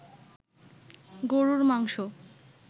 গরুর মাংস